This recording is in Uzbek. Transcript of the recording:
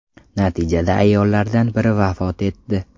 Natijada ayollardan biri vafot etdi.